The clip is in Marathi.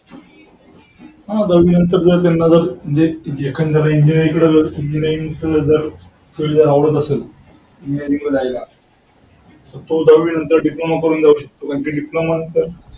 हा जर दहावीनंतर जर त्यांना जर म्हणजे एखांद्याला जर engineering कडे जर engineering फील्ड ला आवडत असेल engineering ला जायला तर तो दहावी नंतर diploma करून जाऊ शकतो. diploma नंतर.